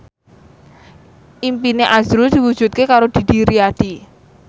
impine azrul diwujudke karo Didi Riyadi